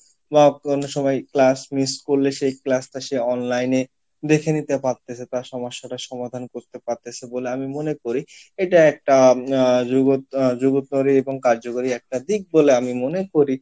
বা কোনো সময় class miss করলে সেই class টা সে online এ দেখে নিতে পারতিছে তার সমস্যা টা সমাধান করতে পারতিছে বলে আমি মনে করি এটা একটা আহ এবং কার্যকরী একটা দিক বলে আমি মনে করি